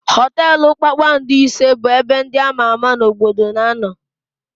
Họtelụ kpakpando ise bụ ebe ndị ama ama n'obodo na-anọ.